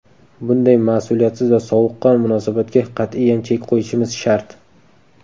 Bunday mas’uliyatsiz va sovuqqon munosabatga qat’iyan chek qo‘yishimiz shart.